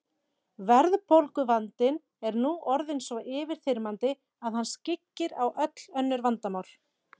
Verðbólguvandinn er nú orðinn svo yfirþyrmandi að hann skyggir á öll önnur vandamál.